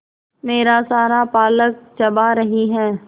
मेरा सारा पालक चबा रही है